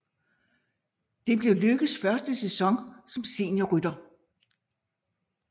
Det blev Lykkes første sæson som seniorrytter